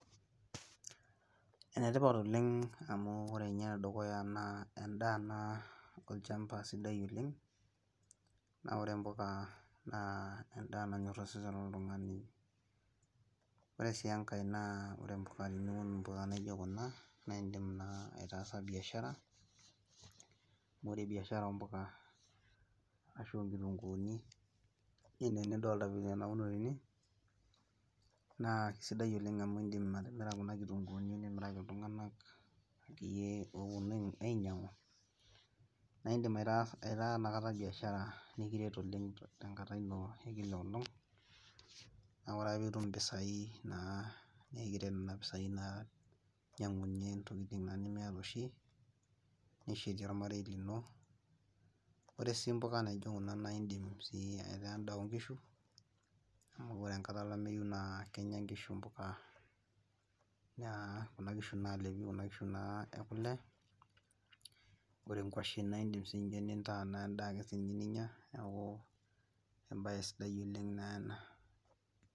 Enetipat oleng amu ore ene dukuya naa edaa naa olchampa sidai oleng, naa ore mpuka naa edaa nanyor osesen, loltungani, ore sii enkae naa teniun mpuka naijo Kuna, naa idim naa ataasa biashara. ore biashara oo mpuka, ashu oo nkitunkuuni, nidolta anaa enauno tene, naa kisaidia oleng amu idim atimira Kuna kitunkuuni nimiraki, iltunganak akeyie oopuonu ainyiangu, naa idim aitaa Ina kata biashara, nikiret oleng tenkata eina olong, naa ore ake pee itum mpisai naa nikiret Nena pisai naa, inyiang'unye naa ntokitin nimiata oshi, nishetis olmarei lino. ore sii, mpuka naijo Kuna naa idim sii aita edaa oonkishu, amu ore e enkata olameyu naa Kenya nkishu mpuka. naa Kuna kishu naalepi, naa Kuna kishu ekule. ore nkuashen naa idim ake nintaa edaa ake ninyia, ebae sidai oleng ena.